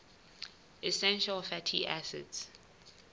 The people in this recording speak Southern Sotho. essential fatty acids